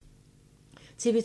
TV 2